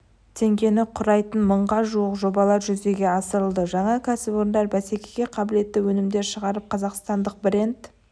теңгені құрайтын мыңға жуық жобалар жүзеге асырылды жаңа кәсіпорындар бәсекеге қабілетті өнімдер шығарып қазақстандық бренд